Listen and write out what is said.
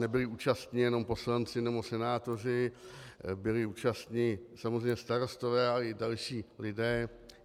Nebyli účastni jenom poslanci nebo senátoři, byli účastni samozřejmě starostové, ale i další lidé.